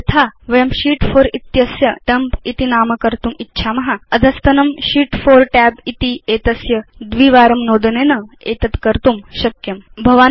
अधुना यथा वयं शीत् 4 इत्यस्य डम्प इति नाम कर्तुम् इच्छाम भवान् केवलं अधस्तनं शीत् 4तब् इत्येतस्य द्विवारं नोदनेन एतद् कर्तुं शक्नोति